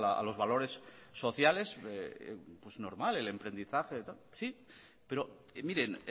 a los valores sociales es normal el emprendizaje sí pero miren